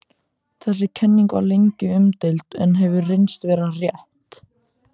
Þessi kenning var lengi umdeild en hefur reynst vera rétt.